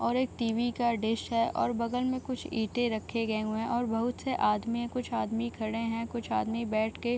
और एक टी.वी. का डिश है और बगल में कुछ ईटें रखे गये हुए हैं और बहुत से आदमी है कुछ आदमी खड़े हैं कुछ आदमी बैठ के --